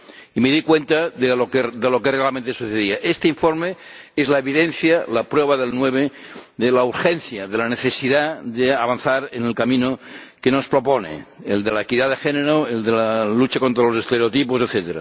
y me di cuenta de lo que realmente sucedía. Este informe es la evidencia, la prueba del 9, de la urgencia, de la necesidad de avanzar en el camino que nos propone el de la equidad de género, el de la lucha contra los estereotipos, etc.